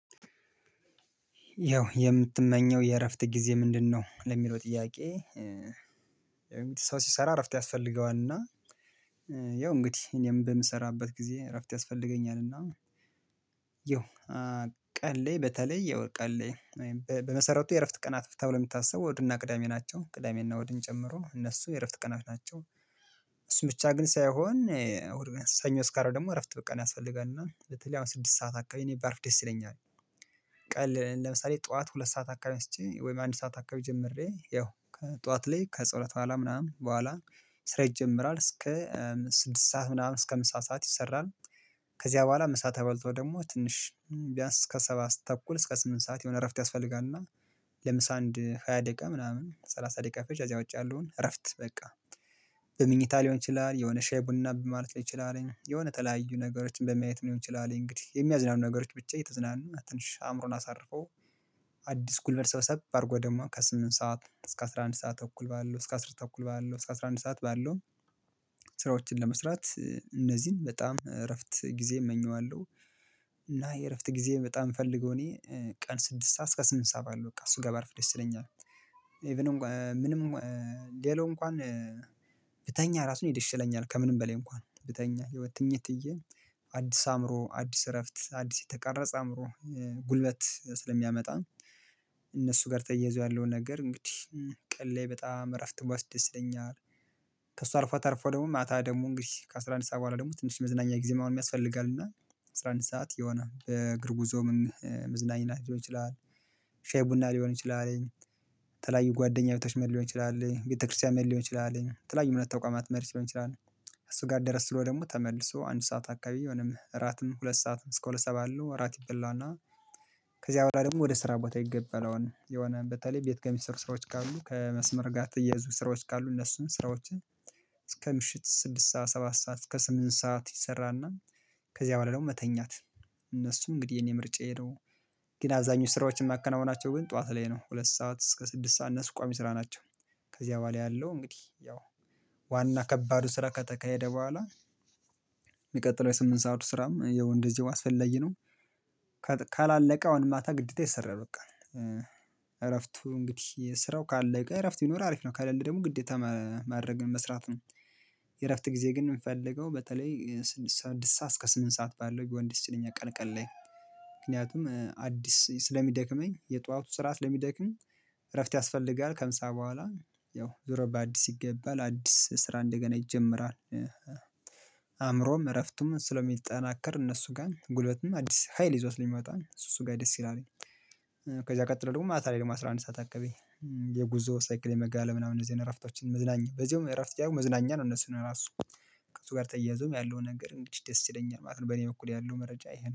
ያው የምትመኘው የእረፍት ጊዜ ምንድነው? ለሚለው ጥያቄ ሰው ሲሰራ እረፍት ያስፈልገዋል። እና ያው እንግዲህ እኔም በምሰራበት ጊዜ እረፍት ያስፈልገኛል። እ ያው ቀንላይ በተለይ ያው ቀንላይ በመሰረቱ የእረፍት ቀናት ተብሎ የምታስበው እሁድና ቅዳሜ ናቸው ቅዳሜና እሁድን ጨምሮ እነሱ የእረፍት ቀናት ናቸው። እሱ ብቻ ግን ሳይሆን ሰኞ ስካሮ ደግሞ እረፍት ቀን ያስፈልጋል እና በተለይ አሁን ስድስት ሰዓት አካባቢ እኔ ባርፍ ደስ ይለኛል። ቀን ለምሳሌ ጠዋት ሁለት ሰዓት አካባቢ ተነስቼ ወይም አንድ ሰዓት አካባቢ ጀምሬ ያው ከጠዋት ላይ ከጸሎት በኋላ ምናምን በኋላ ስራ ይጀምራል እስከ ስድስት ሰዓት ምናምን እስከ ምሳ ሰዓት ይሰራል። ከዚያ በኋላ ምሳ ተበልት ደግሞ ትንሽ ቢያንስ እስከ ሰባት ተኩል እስከ ስምንት ሰዓት የሆነ እረፍት ያስፈልጋል። እና ለምሳ አንድ ሃያ ደቂቃ ምናምን ሰላሳ ደቂቃ ፈጅ እዚያ ውጭ ያለውን እረፍት በቃ በምኝታ ሊሆን ይችላል የሆነ ሻይ ቡና ማለት ሊሆን ይችላል የሆነ ተለያዩ ነገሮችን በማየት ሊሆን ይችላል እንግዲህ የሚያዝናኑ ነገሮች ብቻ እየተዝናና ትንሽ አእምሮን አሳርፎ። አዲስ ጉልበት ሰበሰብ አድርጎ ደግሞ ከስምንት ሰዓት እስከ አስራ አንድ ሰዓት ተኩል ባለው እስከ አስር ተኩል ባለው እስከ አስራ አንድ ሰዓት ባለው ስራዎችን ለመስራት እነዚህን በጣም እረፍት ጊዜ እመኘዋለሁ። እና የእረፍት ጊዜ በጣም ፈልገው እኔ ቀን ስድስት ሰዓት እስከ ስምንት ሰዓት ባለው በቃ እሱ ጋር ባርፍ ደስ ይለኛል። ኢቭን እንኳን ምንም ሌላው እንኳን ብተኛ ራሱን ደስ ይለኛል ከምንም በላይ እንኳን ብተኛ የሆኘ ትኝት ብዬ አዲስ አእምሮ አዲስ እረፍት አዲስ የተቀረጸ አእምሮ ጉልበት ስለሚያመጣ እነሱ ጋር ተያይዞ ያለውን ነገር እንግዲህ ቀል ላይ በጣም እረፍት ወስደስ ይለኛል። ከእሱ አርፎ አርፎ ደግሞ ማታ ደግሞ እንግዲህ ከአስራ አንድ ሰዓት በኋላ ደግል ተለያዩ ጓደኛ ቤቶች መሄድ ሊሆን ይችላል ቤተክርስቲያን መሄድ ሊሆን ይችላል የተለያዩ እምነት ተቋማት መሄድ ሊሆን ይችላል እሱጋር ደረስ ብሎ ደግሞ ተመልሶ አንድ ሰዓት አካባቢ የሆነም እራትም ሁለት ሰዓትም እስከ ሁለት ሰባት አለው። እራት ይበላና ከዚያ በኋላ ደግሞ ወደ ስራ ቦታ ይገበለውን የሆነ በተለይ ቤት ከሚሰሩ ስራዎች ካሉ ከመስመር ጋር ተያዙ ስራዎች ካሉ እነሱን ስራዎችን እስከ ምሽት ስድስት ሰዓት ሰባት ሰዓት እስከ ስምንት ሰዓት ይሰራና። ከዚያ በኋላ ደግሞ መተኛት እነሱ እንግዲህ የኔ ምርጫዬ ነው። ግን አብዛኞቹ ስራዎችን የማከናውናቸው ግን ጠዋት ላይ ነው ሁለት ሰዓት እስከ ስድስት ሰዓት እነሱ ቋሚ ስራ ናቸው። ከዚህ በኋላ ያለው እንግዲህ ያው ዋና ከባዱ ስራ ከተካሄደ በኋላ የሚቀጥለው የስምንት ሰዓት ስራም ያው እንደዚህ አስፈለግዬ ነው። ካላለቀው አሁን ማታ ግዴታ ይሰራል በቃ እረፍቱ እንግዲህ ስራው ካለቀ እረፍት ቢኖር አሪፍ ነው። ከሌለ ደግሞ ግዴታ ማድረግ መስራት ነው። የእረፍት ጊዜ ግን የሚፈልገው በተለይ ስምንት ሰዓት እስከ ስምንት ሰዓት ባለው ቢሆን ደስ ይለኛል። ቀን ቀን ላይ ምክንያቱም አዲስ ስለሚደክመኝ የጧቱ ስርዓት ለሚደክም እረፍት ያስፈልጋል ከምሳ በኋላ ያው ዞሮ በአዲስ ይገባል አዲስ ስራ እንደገና ይጀምራል። አእምሮም እረፍቱም ስለሚጠናከር እነሱ ጋር ጉልበትም አዲስ ሀይል ይዞት ሊመጣን እሱ እሱ ጋር ደስ ይላል። ከዛ ቀጥሎ ደግሞ ማታ ላይ ደግሞ አስራ አንድ ሰዓት አካባቢ የጉዞ ሳይክል የመጋለብ ምናምን እዚህ እረፍቶችን መዝናኛ በዚህ እረፍት ሳይሆን መዝናኛ ነው እነሱ ነው ራሱ እሱ ጋር ተያይዞም ያለውን ነገር ደስ ይለኛል ማለት ነው። በኔ በኩል ያለው መረጃ ይሄ ነው